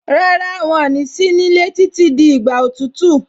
Rárá, wọn ní sí nílé títí di ìgbà òtútù.